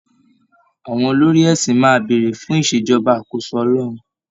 Àwọn olórí ẹ̀sìn máa béèrè fún ìṣèjọba àkóso Ọlọ́run